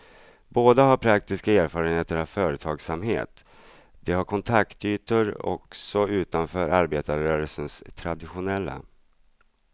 Båda har praktiska erfarenheter av företagsamhet, de har kontaktytor också utanför arbetarrörelsens traditionella.